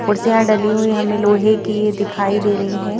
कुर्सियां डली हुई हमें लोहे की ये दिखाई दे रही--